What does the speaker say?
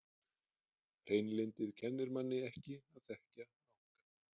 Hreinlyndið kennir manni ekki að þekkja náungann.